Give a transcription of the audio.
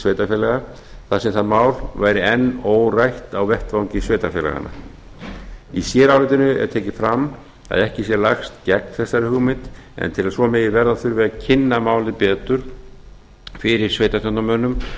sveitarfélaga þar sem það mál væri enn órætt á vettvangi sveitarfélaganna í sérálitinu er tekið fram að ekki sé lagt gegn þessari hugmynd en til að svo megi verða þurfi að kynna málið betur fyrir sveitarstjórnarmönnum